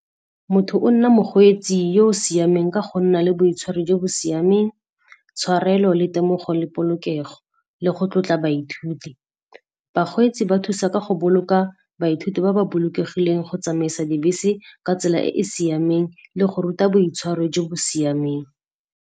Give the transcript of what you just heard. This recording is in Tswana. Motho o nna mokgweetsi yo o siameng ka go nna le boitshwaro jo bo siameng, tshwarelo le temogo le polokego le go tlotla baithuti. Bakgweetsi ba thusa ka go boloka baithuti ba ba bolokegileng go tsamaisa dibese ka tsela e e siameng le go ruta boitshwaro jo bo siameng.